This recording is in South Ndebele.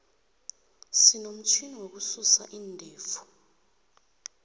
sinomutjhini wokususa iindevu